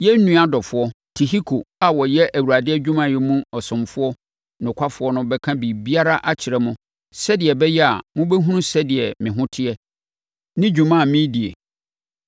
Yɛn nua ɔdɔfoɔ, Tihiko, a ɔyɛ Awurade adwumayɛ mu ɔsomfoɔ nokwafoɔ no bɛka biribiara akyerɛ mo sɛdeɛ ɛbɛyɛ a mobɛhunu sɛdeɛ me ho teɛ ne dwuma a meredie.